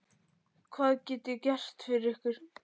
Hvað get ég gert fyrir ykkur?